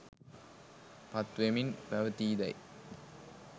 පත් වෙමින් පවතීදැයි